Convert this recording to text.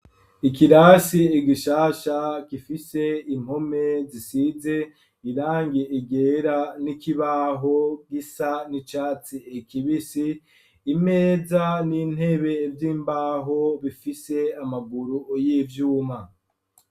Ikirasi igishasha gifise impome zisize irangie igera n'ikibaho gisa n'icatsi ekibisi imeza n'intebe vy'imbaho bifise amaguru y'ivyuma.